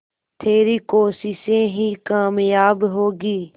तेरी कोशिशें ही कामयाब होंगी